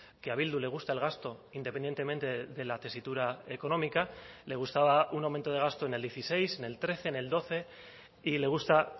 que a bildu le gusta el gasto independientemente de la tesitura económica le gustaba un aumento de gasto en el dieciséis en el trece en el doce y le gusta